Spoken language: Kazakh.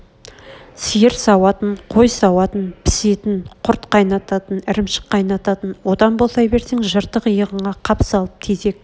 сиыр сауатын қой сауатын пісетін құрт қайнататын ірімшік қайнататын одан босай берсең жыртық иығыңа қап салып тезек